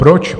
Proč?